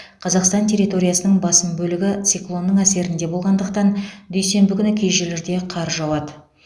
қазақстан территориясының басым бөлігі циклонның әсерінде болғандықтан дүйсенбі күні кей жерлерде қар жауады